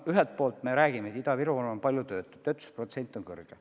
Ühelt poolt me ju räägime, et Ida-Virumaal on palju töötuid, töötuse protsent on kõrge.